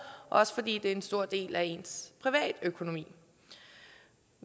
også fordi det er en stor del af ens privatøkonomi